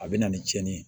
A bɛ na ni cɛnni ye